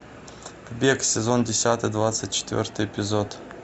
бег сезон десятый двадцать четвертый эпизод